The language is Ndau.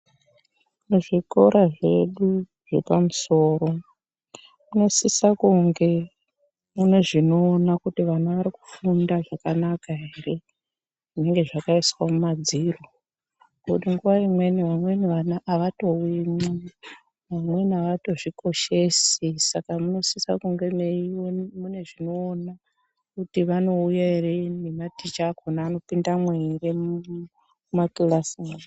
Muzvikora zvedu zvepamusoro munosisa kunge mune zvinoona kuti vana vari kufunda zvakanaka ere zvinenge zavakaiswa mumadziro, Ngekuti nguwa imweni vamweni vana havatouyimwo, vamweni havatozvikoshesi saka munosisa kunga meiwe mune zvinoona kuti vanouya ere ivo vana ticha vakona vanopindamwo here mumakilasi acho.